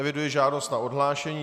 Eviduji žádost na odhlášení.